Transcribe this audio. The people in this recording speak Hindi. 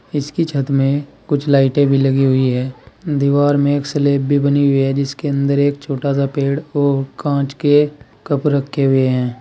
इसकी छत में कुछ लाइटें भी लगी हुई है दीवार में एक स्लैब भी बनी हुई है जिसके अंदर एक छोटा सा पेड़ और कांच के कप रखे हुए हैं।